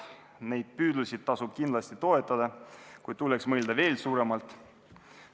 Neid püüdlusi tasub kindlasti toetada, kuid tuleks mõelda veel suuremalt.